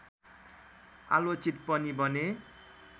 आलोचित पनि बने